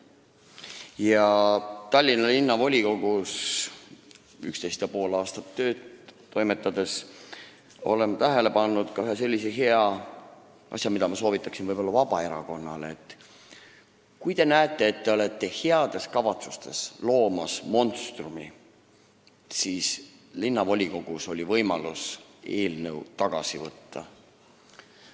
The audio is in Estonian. Ma soovitan ka Vabaerakonnale ühte head asja, mida ma üksteist ja pool aastat Tallinna Linnavolikogus toimetades tähele panin: kui te nägite, et te olite heade kavatsuste nimel monstrumi loomas, siis oli teil võimalus linnavolikogus eelnõu tagasi võtta.